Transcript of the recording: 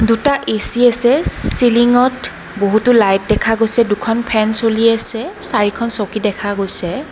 দুটা এ_চি আছে চিলিঙত বহুতো লাইট দেখা গৈছে দুখন ফেন চলি আছে চাৰিখন চকী দেখা গৈছে।